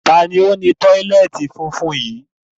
Taàní ó ni tọ́lẹ́ẹ́tì funfun yí?